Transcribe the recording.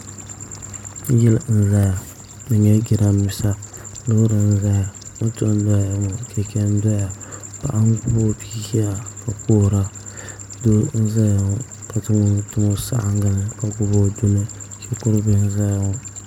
Yili n ʒɛya di nyɛla jiranbiisa loori n ʒɛya moto n ʒɛya maa chɛchɛ n doya paɣa n gbubi o bia ʒɛya ka kuhura doo n ʒɛya ka zaŋ o nuu tim o saɣangi ni ka gbubi o duni shikuru bili n ʒɛya ŋo